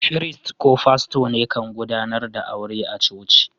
Firist ko fasto ne kan gudanar da auren a'coci.